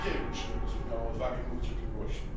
niewielu przywódców miało odwagę mówić o tym głośno.